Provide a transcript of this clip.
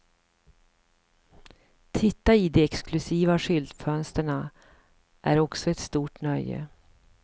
Titta i de exklusiva skyltfönsterna är också ett stort nöje.